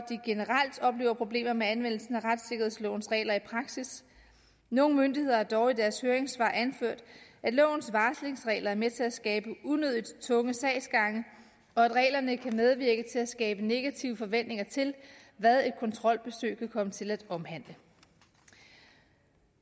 at oplever problemer med anvendelsen af retssikkerhedslovens regler i praksis nogle myndigheder har dog i deres høringssvar anført at lovens varslingsregler er med til at skabe unødig tunge sagsgange og at reglerne kan medvirke til at skabe negative forventninger til hvad et kontrolbesøg kan komme til at omhandle